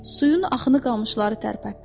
Suyun axını qamışları tərpətdi.